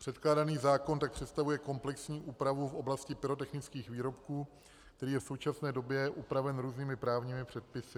Předkládaný zákon tak představuje komplexní úpravu v oblasti pyrotechnických výrobků, který je v současné době upraven různými právními předpisy.